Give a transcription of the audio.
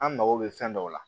An mago bɛ fɛn dɔw la